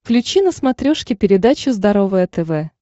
включи на смотрешке передачу здоровое тв